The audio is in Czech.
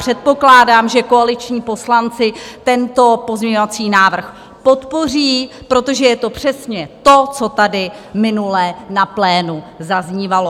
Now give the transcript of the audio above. Předpokládám, že koaliční poslanci tento pozměňovací návrh podpoří, protože je to přesně to, co tady minule na plénu zaznívalo.